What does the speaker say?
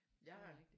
Jeg har